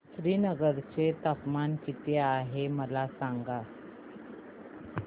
श्रीनगर चे तापमान किती आहे मला सांगा